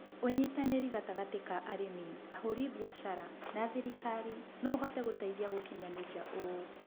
ũnyitanĩri gatagatĩ ka arĩmi ahũri biashara, na thirikari no ũhote gũteithia gũkinyanĩria ũũ.